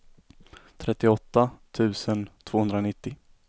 trettioåtta tusen tvåhundranittio